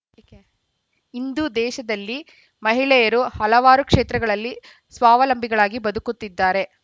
ಯಾಕೆ ಇಂದು ದೇಶದಲ್ಲಿ ಮಹಿಳೆಯರು ಹಲವಾರು ಕ್ಷೇತ್ರಗಳಲ್ಲಿ ಸ್ವಾವಲಂಬಿಗಳಾಗಿ ಬದುಕುತ್ತಿದ್ದಾರೆ